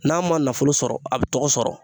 N'a ma nafolo sɔrɔ a bi tɔgɔ sɔrɔ.